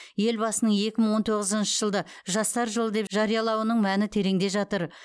елбасының екі мың он тоғызыншы жылды жастар жылы деп жариялауының мәні тереңде жатыр